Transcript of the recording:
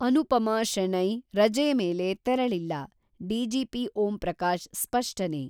ಅನುಪಮಾ ಶೆಣೈ ರಜೆ ಮೇಲೆ ತೆರಳಿಲ್ಲ: ಡಿಜಿಪಿ ಓಂಪ್ರಕಾಶ್ ಸ್ಪಷ್ಟನೆ.